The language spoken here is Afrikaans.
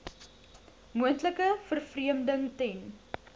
moontlike vervreemding ten